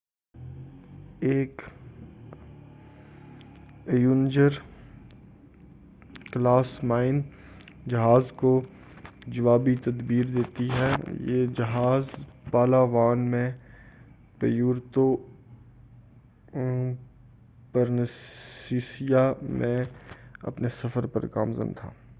ایک Avenger class mine جہاز کو جوابی تدبیر دیتی ہے یہ جہاز پالاوان میں پیورتو پرنسیسا میں اپنے سفر پر گامزن تھا